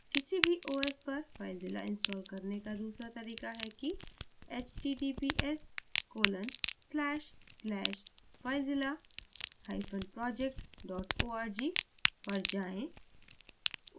किसी भी os operating system पर filezilla install करने का दूसरा तरीका है कि